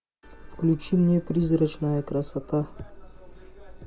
включи мне призрачная красота